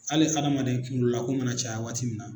Hali hadamadamaden kunkololako mana caya waati min na.